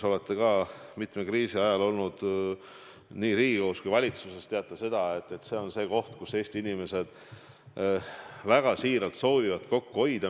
Te olete ka mitme kriisi ajal olnud nii Riigikogus kui valitsuses ja teate seda, et kriisiaeg on aeg, kus Eesti inimesed väga siiralt soovivad kokku hoida.